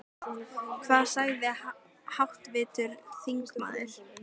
Hvað sagði háttvirtur þingmaður?